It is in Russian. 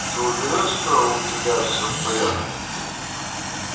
ты уверен что у тебя все в порядке